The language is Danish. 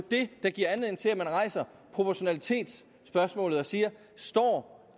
det der giver anledning til at man rejser proportionalitetsspørgsmålet og siger står